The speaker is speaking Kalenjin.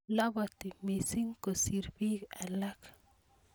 labati mising kosir bik alak